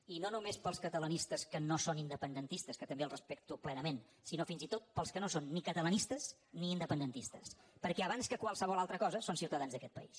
i no només pels catalanistes que no són independentistes que també els respecto plenament sinó fins i tot pels que no són ni catalanistes ni independentistes perquè abans que qualsevol altra cosa són ciutadans d’aquest país